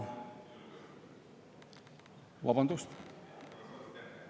Vabandust?